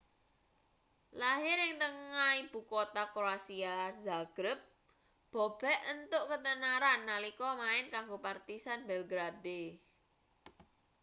lahir ing tengah ibu kutha kroasia zagreb bobek entuk ketenaran nalika main kanggo partizan belgrade